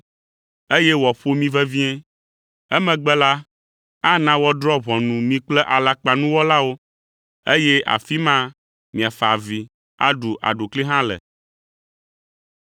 eye wòaƒo mi vevie. Emegbe la, ana woadrɔ̃ ʋunu mi kple alakpanuwɔlawo, eye afi ma miafa avi, aɖu aɖukli hã le.”